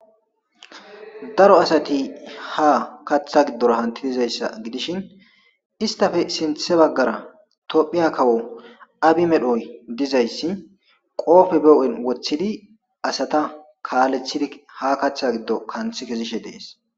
.daro asati ha katha gidora hanti yizaysa gidishin isyape sintha bagara tophiya kawo abiy medhoy dizaysi qope be huphen wothidi asata kalethidi ha katha gido kanthi kezishe dees